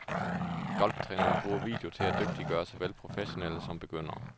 Golftræneren bruger video til at dygtiggøre såvel professionelle som begyndere.